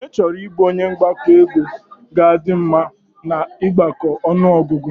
Ọnye chọrọ ịbụ onye mgbakọ ego ga a dị mma na ịgbako ọnụọgụgụ